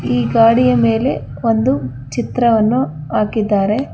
ಈ ಗಾಡಿಯ ಮೇಲೆ ಒಂದು ಚಿತ್ರವನ್ನು ಹಾಕಿದ್ದಾರೆ.